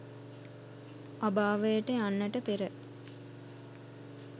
අභාවයට යන්නට පෙර,